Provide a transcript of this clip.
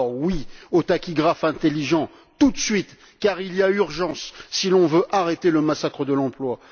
Alors, oui au tachygraphe intelligent, tout de suite, car il y a urgence si l'on veut arrêter le massacre de l'emploi.